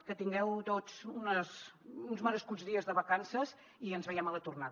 que tingueu tots uns merescuts dies de vacances i ens veiem a la tornada